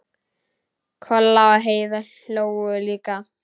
Kolla og Heiða hlógu líka.